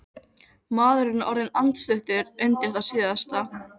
Maðurinn er orðinn andstuttur undir það síðasta.